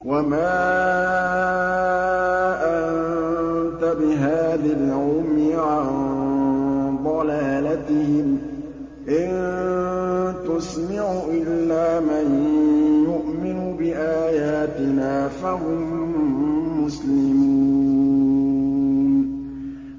وَمَا أَنتَ بِهَادِ الْعُمْيِ عَن ضَلَالَتِهِمْ ۖ إِن تُسْمِعُ إِلَّا مَن يُؤْمِنُ بِآيَاتِنَا فَهُم مُّسْلِمُونَ